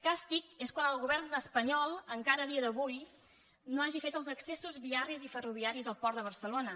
càstig és quan el govern espanyol encara a dia d’avui no hagi fet els accessos viaris i ferroviaris al port de barcelona